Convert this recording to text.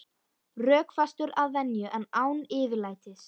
Rökfastur að venju en án yfirlætis.